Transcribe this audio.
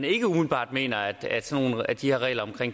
ikke umiddelbart mener at at de her regler om